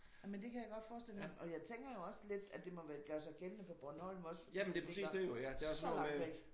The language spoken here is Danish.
Jamen det kan jeg godt forestille mig. Og jeg tænker jo også lidt at det må være gøre sig gældende for Bornholm også fordi det er så langt væk